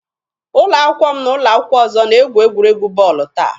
Ụlọ akwụkwọ m na ụlọ akwụkwọ ọzọ na-egwu egwuregwu bọọlụ taa.